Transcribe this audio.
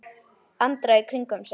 Andra í kringum sig.